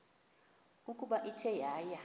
ukuba ithe yaya